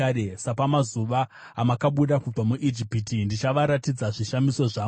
“Sapamazuva amakabuda kubva muIjipiti, ndichavaratidza zvishamiso zvangu.”